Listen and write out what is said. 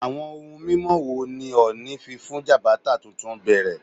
Awọn ohun mimọ wo ni Ooni fi fun Jabata tuntun bẹrẹ?